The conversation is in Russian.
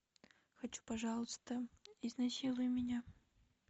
хочу пожалуйста изнасилуй меня